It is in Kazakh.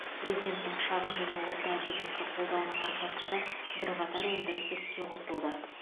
президенттің шағын және орта бизнесті қолдауының арқасында бірқатар өндіріс іске қосылды